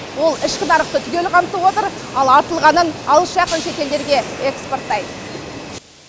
ол ішкі нарықты түгел қамтып отыр ал артылғанын алыс жақын шет елдерге экспорттайды